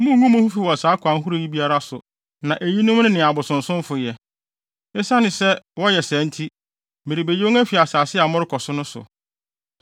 “ ‘Munngu mo ho fi wɔ saa akwan ahorow yi biara so na eyinom ne nea abosonsomfo yɛ. Esiane sɛ wɔyɛ saa nti, merebeyi wɔn afi asase a morekɔ so no so.